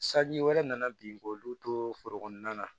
Sanji wɛrɛ nana bin k'olu to foro kɔnɔna na